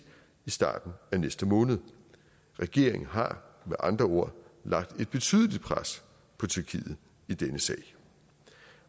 i starten af næste måned regeringen har med andre ord lagt et betydeligt pres på tyrkiet i denne sag